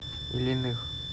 ильиных